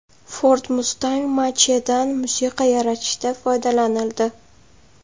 Ford Mustang Mach-E’dan musiqa yaratishda foydalanildi .